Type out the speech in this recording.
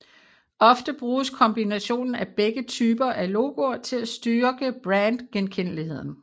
Ofte bruges kombinationen af begge typer af logoer til at styrke brand genkendeligheden